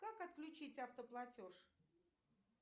как отключить автоплатеж